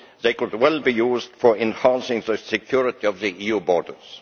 They could well be used for enhancing the security of the EU borders.